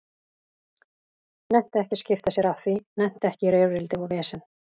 Nennti ekki að skipta sér af því, nennti ekki í rifrildi og vesen.